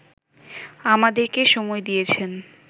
আমাদেরকে সময় দিয়েছেন